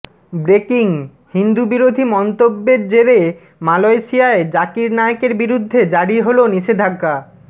breaking Hindu বিরোধী মন্তব্যের জেরে মালয়েশিয়ায় জাকির নায়েকের বিরুদ্ধে জারি হল নিষেধাজ্ঞা